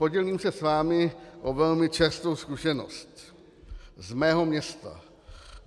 Podělím se s vámi o velmi čerstvou zkušenost z mého města.